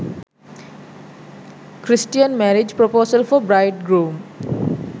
christian marriage proposal for bride groom